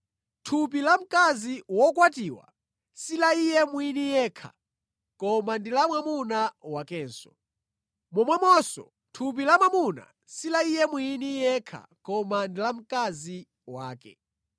Thupi la mkazi wokwatiwa si la iye mwini yekha koma ndi la mwamuna wakenso. Momwemonso, thupi la mwamuna si la iye mwini yekha koma ndi la mkazi wakenso.